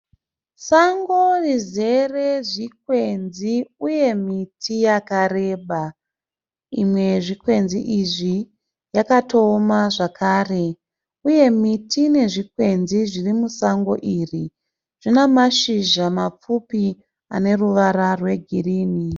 Sango rizere zvikwenzi uye miti yakareba. Imwe yezvikwenzi izvi yakatooma zvakare uye miti nezvikwenzi zviri musango iri zvine mashizha mapfupi ane ruvara rwegirinhi.